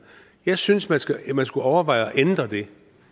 jeg synes man skulle man skulle overveje at ændre det